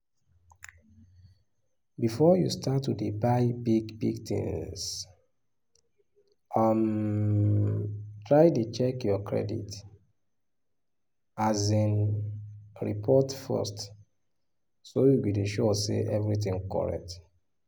before you start to dey buy big big things um try dey check your credit um report first so you go dey sure say everything correct